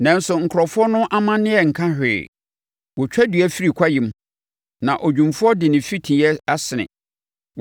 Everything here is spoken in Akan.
nanso nkurɔfoɔ no amanneɛ nka hwee; wɔtwa dua firi kwaeɛm, na odwumfoɔ de ne fitiiɛ asene.